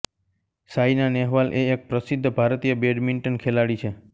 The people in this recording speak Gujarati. સાયના નેહવાલ એ એક પ્રસિદ્ધ ભારતીય બેડમિન્ટન ખેલાડી છે